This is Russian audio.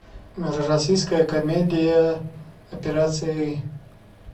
российская комедия операция ы